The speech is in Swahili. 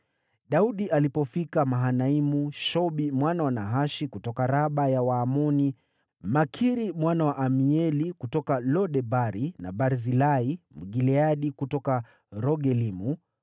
Daudi alipofika Mahanaimu, Shobi mwana wa Nahashi kutoka Raba ya Waamoni, Makiri mwana wa Amieli kutoka Lo-Debari, na Barzilai Mgileadi kutoka Rogelimu